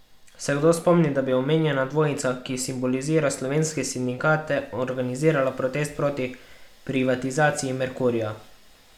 Se kdo spomni, da bi omenjena dvojica, ki simbolizira slovenske sindikate, organizirala protest proti privatizaciji Merkurja?